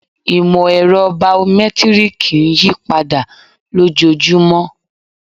Ìmọ̀-ẹ̀rọ̀ baomẹ́tírìkì ń yípadà lójojúmọ́